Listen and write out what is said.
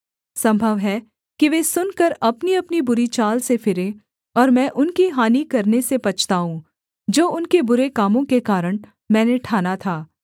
सम्भव है कि वे सुनकर अपनीअपनी बुरी चाल से फिरें और मैं उनकी हानि करने से पछताऊँ जो उनके बुरे कामों के कारण मैंने ठाना था